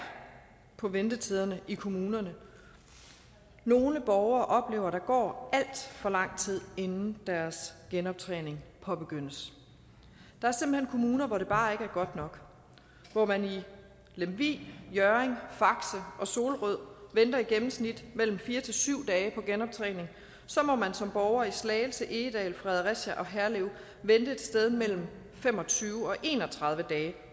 på ventetiderne i kommunerne nogle borgere oplever at der går alt for lang tid inden deres genoptræning påbegyndes der er simpelt hen kommuner hvor det bare ikke er godt nok hvor man i lemvig hjørring faxe og solrød venter i gennemsnit mellem fire til syv dage på genoptræning må man som borger i slagelse egedal fredericia og herlev vente et sted mellem fem og tyve og en og tredive dage